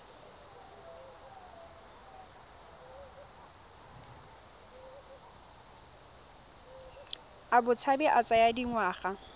a botshabi a tsaya dingwaga